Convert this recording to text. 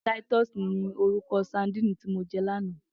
Titus ni órúkò sàdín ti mó jè làná